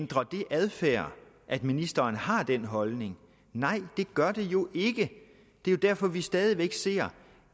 ændrer det adfærd at ministeren har den holdning nej det gør det jo ikke det er derfor at vi stadig væk ser